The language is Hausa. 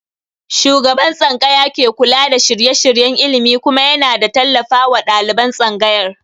Shugaban tsangaya ke kula da shirye-shiryen ilimi kuma ya na tallafawa ɗaliban tsangayar